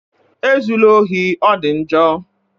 E zula ohi, ọ dị njọ!